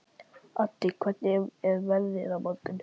Addi, hvernig er veðrið á morgun?